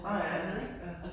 Nåh ja, ja